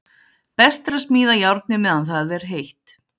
Best er að smíða járnið meðan er heitt.